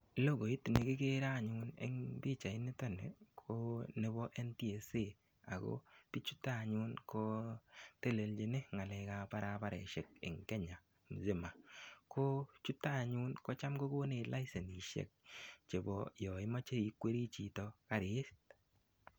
Lokoit nekikere anyun en pichait niton nii ko pichait nebo NTSA ak ko bichuton anyun ko telelchin ngalekab barabaroshek en Kenya misima, ko chuto anyun kotam kokonech laisenishek chebo yoon imoche ikwere chito karit.